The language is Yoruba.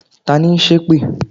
Tani n sẹ́ èpè?